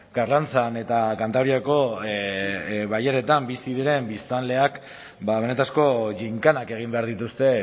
karrantzan eta kantabriako bailaretan bizi diren biztanleek benetako ginkanak egin behar dituzte